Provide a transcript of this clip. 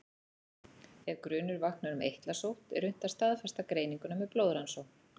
Ef grunur vaknar um eitlasótt er unnt að staðfesta greininguna með blóðrannsókn.